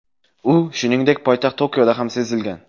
U, shuningdek, poytaxt Tokioda ham sezilgan.